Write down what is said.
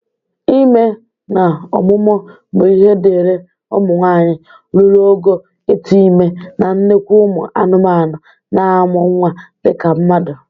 Ime na ọmụmụ bụ ihe dịri ụmụ nwaanyị ruru ogo ịtụ ime na nnekwu ụmụ anụmanụ na-amụ nnwa dịka mmadụ